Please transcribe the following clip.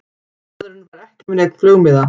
Maðurinn var ekki með neinn flugmiða